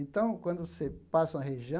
Então, quando você passa uma região,